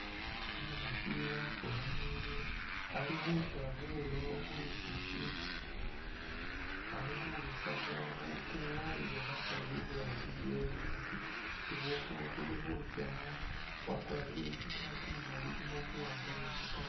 Umukhasi wafukhamile ali khusya bulo khu lusisi ali khurusamu bufu waliile khasawu iburangisi isi bufu buli khutsyakho, wakwarire i'skirt imali ilimo buwaanga ni butonyisi.